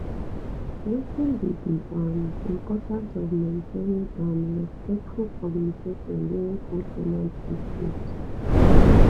wetin be di um importance of maintaining um respectful communication during co ten ant dispute